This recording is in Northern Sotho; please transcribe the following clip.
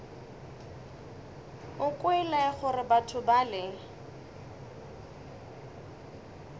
o kwele gore batho bale